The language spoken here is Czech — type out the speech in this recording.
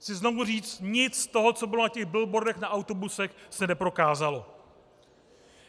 Chci znovu říct, nic z toho, co bylo na těch billboardech, na autobusech se neprokázalo.